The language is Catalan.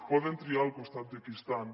poden triar al costat de qui estan